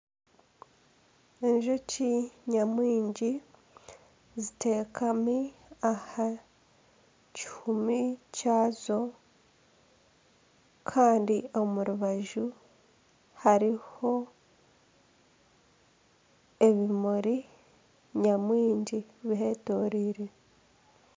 Enjoki nyamwingi ziteekami aha kihuumi kyazo kandi omu rubaju hariho ebimuri nyamwingi bihetoreire.